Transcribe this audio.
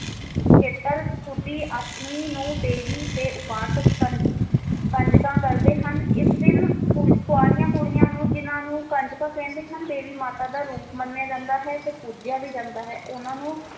ਅਸ਼ਟਮੀ ਨੂੰ ਦੇਵੀ ਦੇ ਉਪਾਸਕ ਕਨ~ ਕੰਜਕਾਂ ਕਰਦੇ ਹਨ ਇਸ ਦਿਨ ਕੁਵੀ~ ਕੁਵਾਰੀਆਂ ਕੁੜੀਆਂ ਨੂੰ ਜਿਨਾਂ ਨੂੰ ਕੰਜਕਾਂ ਕਹਿੰਦੇ ਹਨ ਦੇਵੀ ਮਾਤਾ ਦਾ ਰੂਪ ਮੰਨਿਆ ਏਜੰਡਾ ਹੈ ਤੇ ਪੂਜਿਆ ਵੀ ਜਾਂਦਾ ਹੈ ਉਹਨਾਂ ਨੂੰ